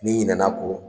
N'i ɲinɛna o